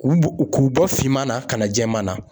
K'u bɔ finman na ka na jɛman na.